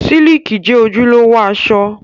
Síìkì jẹ́ ojúlówó aṣọ